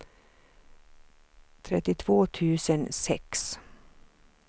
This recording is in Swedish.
trettiotvå tusen sex